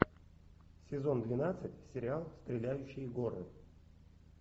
сезон двенадцать сериал стреляющие горы